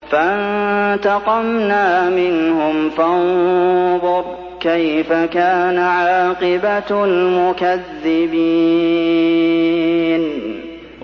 فَانتَقَمْنَا مِنْهُمْ ۖ فَانظُرْ كَيْفَ كَانَ عَاقِبَةُ الْمُكَذِّبِينَ